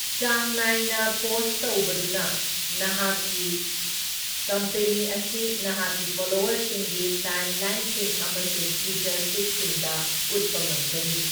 ꯆꯥꯡ ꯅꯥꯏꯅ ꯄꯣꯁꯠ ꯇꯧꯕꯗꯨꯅ ꯅꯍꯥꯛꯀꯤ ꯀꯝꯄꯦꯅꯤ ꯑꯁꯤ ꯅꯍꯥꯛꯀꯤ ꯐꯣꯂꯣꯋꯔꯁꯤꯡꯒꯤ ꯇꯥꯏꯝꯂꯥꯏꯟꯁꯤꯡ ꯑꯃꯁꯨꯡ ꯇ꯭ꯋꯤꯇꯔ ꯐꯤꯗꯁꯤꯡꯗ ꯎꯠꯄ ꯉꯝꯒꯅꯤ꯫